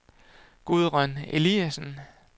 Gudrun Eliasen